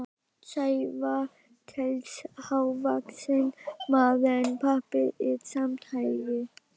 Sævar telst hávaxinn maður en pabbi er samt hærri.